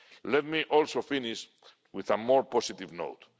Member States. Let me also finish on a more